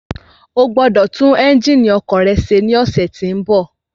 Ogbọ́dọ̀ tún ẹ́njìnì ọkọ̀ rẹ ṣe ní ọ̀sẹ̀ tí bọ̀.